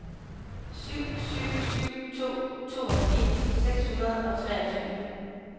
syv syv syv to toogfirs seks hundrede og treogtyve